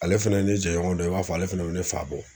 Ale fɛnɛ ne jɛɲɔgɔn dɔ i b'a fɔ ale fɛnɛ be ne fa bɔ.